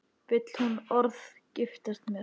Vill hún orðið giftast þér?